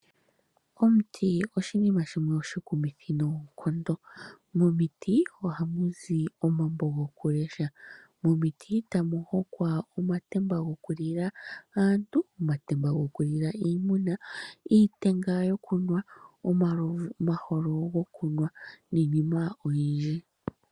Omuti oshinima shimwe oshikumithi noonkondo. Momiti ohamu zi omambo gokulesha, momiti tamu hongwa omatemba gokulila aantu, omatemba gokulila iimuna, iitenga yokunwina omalovu, omaholo gokunwina niinima oyindji.